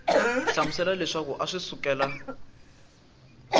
hlamusela leswaku a swi sukela